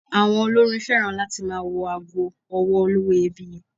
Àwọn olórin féràn láti máa wọ ago ọwọ́ olówó iyebíye.